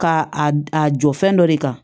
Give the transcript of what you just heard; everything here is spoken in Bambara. Ka a a jɔ fɛn dɔ de kan